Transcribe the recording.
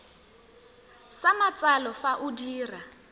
sa matsalo fa o dira